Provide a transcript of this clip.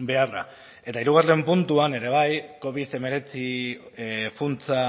beharra eta hirugarren puntuan ere bai covid hemeretzi funtsa